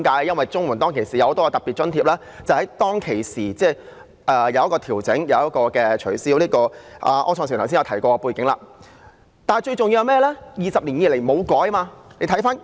因為綜援的很多特別津貼在當時曾進行檢討，亦取消了一些項目，柯創盛議員剛才已說過有關的背景。